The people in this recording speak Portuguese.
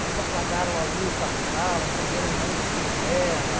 Eles apagaram a luz da sala, acenderam um monte de vela.